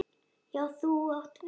Já, þú átt við það!